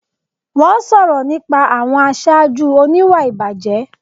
Wọ́n sọ̀rọ̀ nípa àwọn aṣáájú oníwà ìbàjẹ́